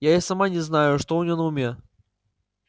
я и сама не знаю что у него на уме